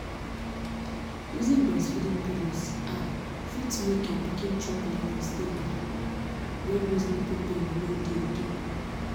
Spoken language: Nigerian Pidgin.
using breastfeeding pillows ah fit make your pikin chop levels dey high when those nipple pain no dey again